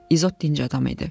İzot dinc adam idi.